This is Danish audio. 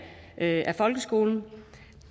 af folkeskolen